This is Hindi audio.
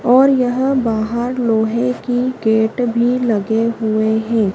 और यह बाहर लोहे की गेट भी लगे हुएं हैं।